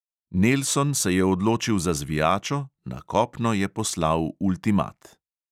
Nelson se je odločil za zvijačo, na kopno je poslal ultimat.